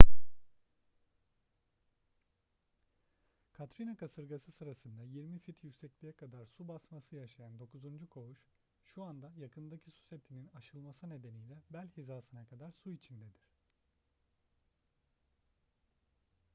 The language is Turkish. katrina kasırgası sırasında 20 fit yüksekliğe kadar su basması yaşayan dokuzuncu koğuş şu anda yakındaki su setinin aşılması nedeniyle bel hizasına kadar su içindedir